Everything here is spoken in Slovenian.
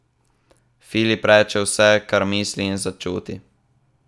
Filip reče vse, kar misli in začuti.